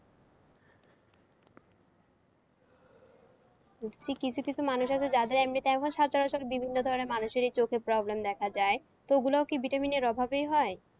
কিছু কিছু মানুষ আছে যাদের এমনি time এও সচরাচর বিভিন্ন ধরণের মানুষেরই চোখে problem দেখা যায় তো ওগুলোয় কি vitamin এর অভাবেই হয়?